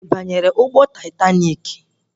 Ị banyere ụgbọ taitaniki?